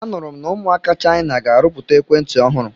A nụrụ m na ụmụaka Chaina ga-arụpụta ekwentị ọhụrụ.